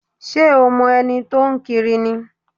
Ṣé o mo ẹni tó ń kiri ni?